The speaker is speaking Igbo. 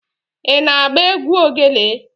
Ị na-agba egwu ogelè?